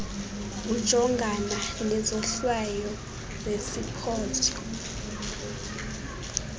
ujongana nezohlwayo zeziphoso